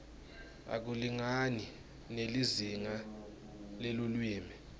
akulingani nelizinga lelulwimi